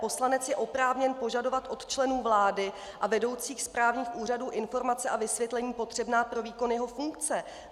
Poslanec je oprávněn požadovat od členů vlády a vedoucích správních úřadů informace a vysvětlení potřebná pro výkon jeho funkce.